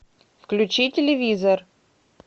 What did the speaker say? включи телевизор